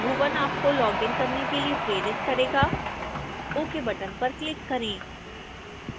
bhuvan आपको login करने के लिए प्रेरित करेगा ok बटन पर क्लिक करें